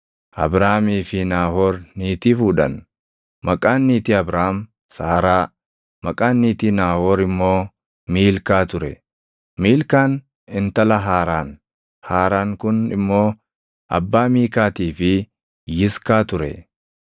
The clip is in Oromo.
Abraamii fi Naahoor niitii fuudhan. Maqaan niitii Abraam Saaraa, maqaan niitii Naahoor immoo Miilkaa ture. Miilkaan intala Haaraan. Haaraan kun immoo abbaa Miikaatii fi Yiskaa ture.